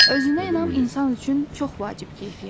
Özünə inam insan üçün çox vacib keyfiyyətdir.